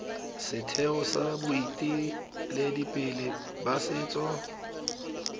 setheo sa boeteledipele ba setso